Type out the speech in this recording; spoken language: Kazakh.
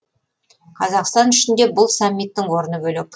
қазақстан үшін де бұл саммиттің орны бөлек